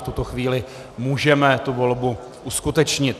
v tuto chvíli můžeme tu volbu uskutečnit.